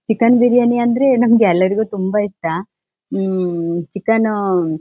chicken biryani ಅಂದ್ರೆ ನಮ್ಗೆಲ್ರಿಗೂ ತುಂಬಾ ಇಷ್ಟ ಹ್ಮ್ಮ್ ಚಿಕನ್ ಅಹ್--